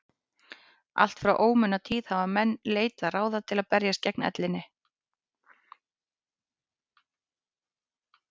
allt frá ómunatíð hafa menn leitað ráða til að berjast gegn ellinni